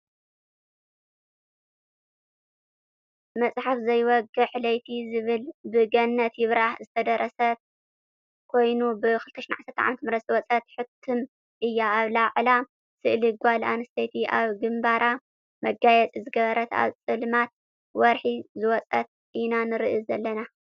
መፅሓፍ ዘይወግሕ ለይቲ ዝብል ብ ገነት ይብራህ ዝተደረሰት ኮይና ብ2010 ዓ/ም ዝወፀት ሕትም እያ ኣብ ላዕላ ስእሊ ጋል ኣንስተይቲ ኣብ ግምባራ መጋየፂ ዝገበረት ኣብ ፀልማት ወርሒ ዝወፀት ኢና ንርኢ ዘለና።